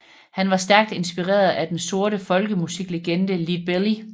Han var stærkt inspireret af den sorte folkemusiklegende Leadbelly